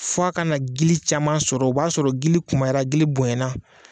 Fɔ a kana gili caman sɔrɔ ,o b'a sɔrɔ gili kunbayara, gili bonyayana